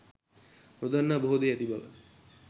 නොදන්නා බොහෝ දේ ඇති බව